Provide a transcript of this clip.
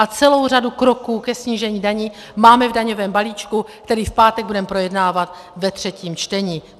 A celou řadu kroků ke snížení daní máme v daňovém balíčku, který v pátek budeme projednávat ve třetím čtení.